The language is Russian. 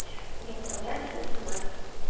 не отправляются смс